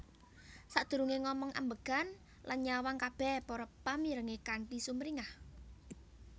Sadurungé ngomong ambegan lan nyawang kabéh para pamirengé kanthi sumringah